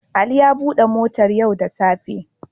Ali ya bude motar yau da tsafe.